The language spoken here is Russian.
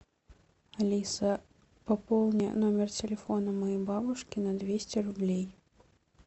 алиса пополни номер телефона моей бабушки на двести рублей